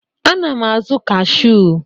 Ana m azụ kashụ.